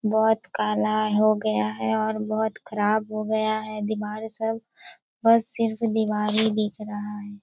बहोत काला हो गया हैं और बहोत ख़राब हो गया हैं दीवार सब बस सिर्फ दीवार ही दिख रहा हैं।